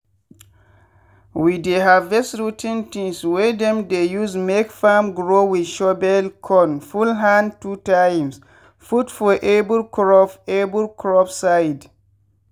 we dey harvest rot ten tins wey dem dey use make farm grow with shovel con full hand two times put for every crop every crop side.